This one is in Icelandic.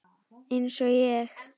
Eins og ég?